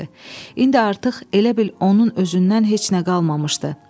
İndi artıq elə bil onun özündən heç nə qalmamışdı.